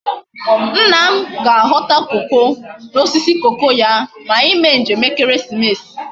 Nna m ka aghota cocoa na osisi cocoa ya ma anyi mee njem ekeresimesi